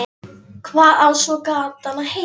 Hvað á svo gatan að heita?